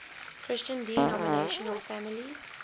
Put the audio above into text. christian denominational families